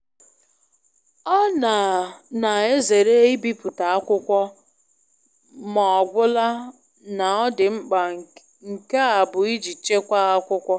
Ọ na na ezeere ibipụta akwụkwọ m'ọgwụla na ọ dị mkpa nke a bu iji chekwa akwụkwọ.